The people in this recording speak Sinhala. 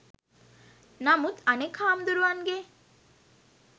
නමුත් අනෙක් හාමදුරුවන්ගෙ